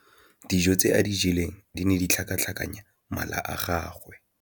Dijô tse a di jeleng di ne di tlhakatlhakanya mala a gagwe.